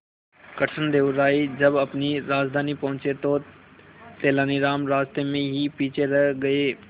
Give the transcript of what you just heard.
कृष्णदेव राय जब अपनी राजधानी पहुंचे तो तेलानीराम रास्ते में ही पीछे रह गए